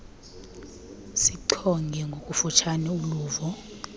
sichonge ngokufutshane uluvo